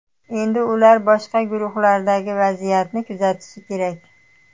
Endi ular boshqa guruhlardagi vaziyatni kuzatishi kerak.